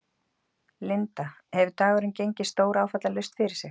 Linda: Hefur dagurinn gengið stóráfallalaust fyrir sig?